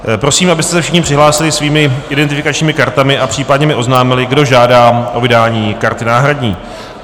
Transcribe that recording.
Prosím, abyste se všichni přihlásili svými identifikačními kartami a případně mi oznámili, kdo žádá o vydání karty náhradní.